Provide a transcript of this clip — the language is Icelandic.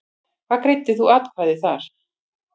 Hvernig greiddir þú atkvæði þar?